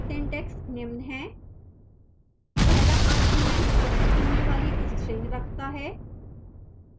syntax निम्न है पहला argument पृथक होने वाली string रखता है